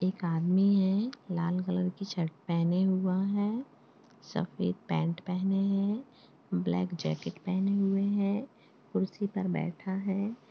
एक आदमी है लाल कलर की शर्ट पहने हुआ है सफेद पैंट पहने है ब्लैक जैकेट पहने हुए है कुर्सी पर बैठा है।